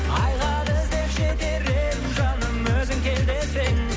айға іздеп жетер едім жаным өзің кел десең